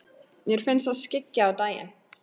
Mér finnst það skyggja á daginn.